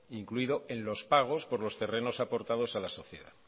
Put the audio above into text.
incluido en los pagos por los terrenos aportados a la sociedad